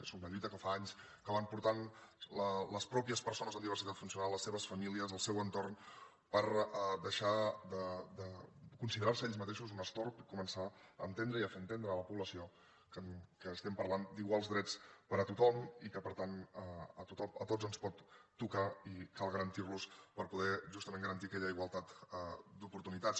és una lluita que fa anys que porten les mateixes persones amb diversitat funcional les seves famílies el seu entorn per deixar de considerar se ells mateixos un destorb i començar a entendre i a fer entendre a la població que estem parlant d’iguals drets per a tothom i que per tant a tots ens pot tocar i que cal garantir los per poder justament garantir aquella igualtat d’oportunitats